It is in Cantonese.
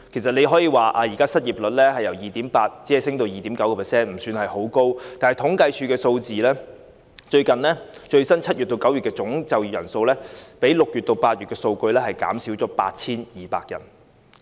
雖說失業率只是由 2.8% 上升至 2.9%， 升幅不算太高，但政府統計處的數據顯示 ，7 月至9月的最新總就業人數較6月至8月的數字減少了 8,200 人，